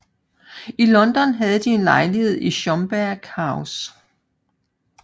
I London havde de en lejlighed i Schomberg House